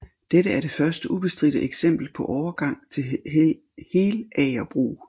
Dette er det første ubestridte eksempel på overgang til helagerbrug